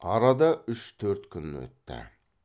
арада үш төрт күн өтті